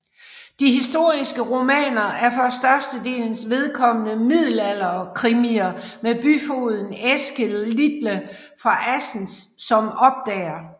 De historiske romaner er for størstedelens vedkommende middelalderkrimier med byfogeden Eske Litle fra Assens som opdager